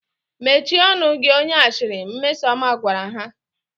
Mechie ọnụ gị onye ashịrị! Mmesọma gwara ha